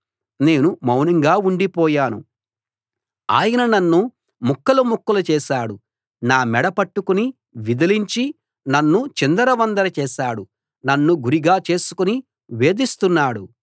నేను మౌనంగా ఉండిపోయాను ఆయన నన్ను ముక్కలు ముక్కలు చేశాడు నా మెడ పట్టుకుని విదిలించి నన్ను చిందరవందర చేశాడు నన్ను గురిగా చేసుకుని వేధిస్తున్నాడు